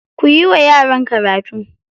Kuyi wa yaran karatu.